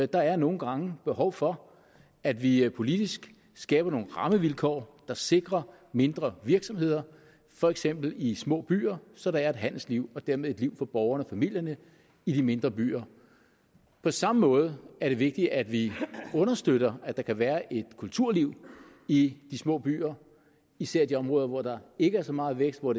der er nogle gange behov for at vi vi politisk skaber nogle rammevilkår der sikrer mindre virksomheder for eksempel i små byer så der er et handelsliv og dermed et liv for borgerne og familierne i de mindre byer på samme måde er det vigtigt at vi understøtter at der kan være et kulturliv i de små byer især i de områder hvor der ikke er så meget vækst og